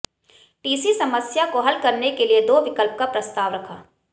TC समस्या को हल करने के लिए दो विकल्प का प्रस्ताव रखा